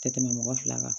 Tɛ tɛmɛ mɔgɔ fila kan